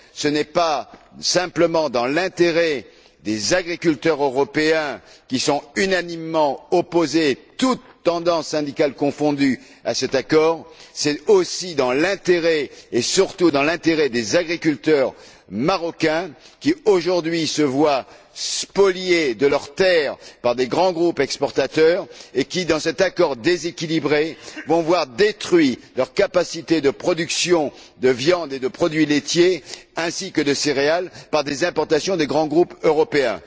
Ce n'est pas simplement dans l'intérêt des agriculteurs européens, qui sont unanimement opposés, toutes tendances syndicales confondues, à cet accord, c'est aussi et surtout dans l'intérêt des agriculteurs marocains qui, aujourd'hui, se voient spoliés de leurs terres par de grands groupes exportateurs et qui, à cause de cet accord déséquilibré, vont voir détruite leur capacité de production de viande et de produits laitiers ainsi que de céréales par des importations de grands groupes européens.